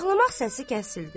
Ağlamaq səsi kəsildi.